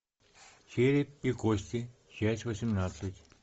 череп и кости часть восемнадцать